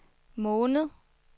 måned